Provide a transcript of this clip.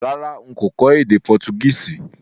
Rárá, n kò kó édé Portuguese